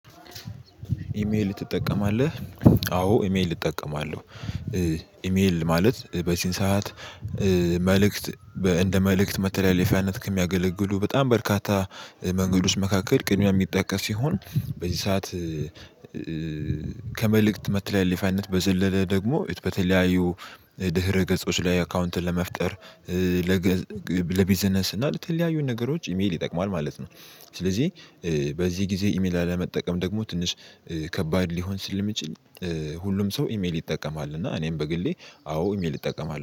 ኢሜል ትጠቀማለህ? አዎ ኢሜል እጠቀማለሁ ኢሜል ማለት በዚን ሰዓት መልእክት እንደ መልእክት መተለያየፊያነት ከሚያገለግሉ በጣም በርካታ መንገድ ውስጥ መካከል ቅድሚያ የሚጠቀስ ሲሆን በዚህ ሰዓት ከመልእክት መተላለፋያነት በዘለለ ደግሞ በተለያዩ ድህረ ገጾች ላይ አካውንት ለመፍጠር ለቢዝነስ እና ለተለያዩን ነገሮች ኢሜል ይጠቅመዋል ማለት ነው። ስለዚህ በዚህ ጊዜ ኢሜል አለመጠቀም ደግሞ ትንሽ ከባድ ሊሆን ስል ሊሚችል ሁሉም ሰው ኢሜል ይጠቀማል እና እኔም በግሌ አዎ ኢሜል እጠቀማለው።